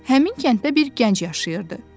Həmin kənddə bir gənc yaşayırdı.